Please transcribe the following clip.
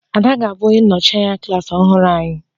Ada ga-abụ onye nnọchi anya klas ọhụrụ anyị